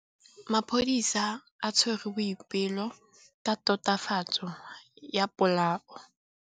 Maphodisa a tshwere Boipelo ka tatofatsô ya polaô.